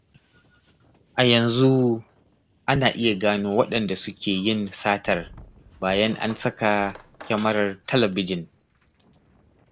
A yanzu ana iya gano waɗanda suke yin satar, bayan an saka kyamarar talabijin.